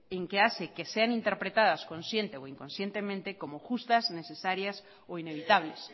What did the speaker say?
que hace que sean interpretadas consciente o inconscientemente como justas necesarias o inevitables